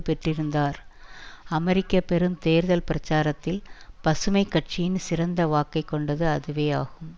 பெற்றிருந்தார் அமெரிக்க பெரும் தேர்தல் பிரச்சாரத்தில் பசுமை கட்சியின் சிறந்த வாக்கைக் கொண்டது அதுவேயாகும்